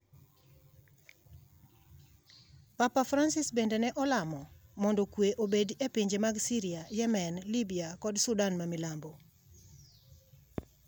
Papa Francis bende ne olamo mondo kwe obedi e pinje mag Syria, Yemen, Libya kod Sudan ma Milambo.